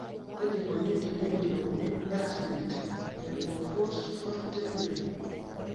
kaji eikoni te neyiolouni X linked hypophosphatemia?